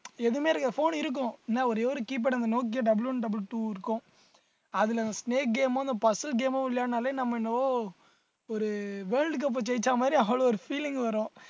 எதுவுமே இருக்~ phone இருக்கும் ஏன்னா ஒரே ஒரு keyboard அந்த nokia double one double two இருக்கும் அதுல அந்த snake game உம் இந்த puzzle game உம் இல்லைன்னாலே நம்ம என்னவோ ஒரு world cup அ ஜெயிச்ச மாதிரி அவ்வளவு ஒரு feeling வரும்